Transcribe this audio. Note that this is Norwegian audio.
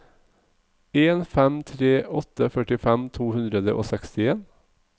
en fem tre åtte førtifem to hundre og sekstien